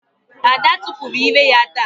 Ada tupuru ire ya ta.